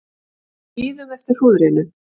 Bíðum eftir hrúðrinu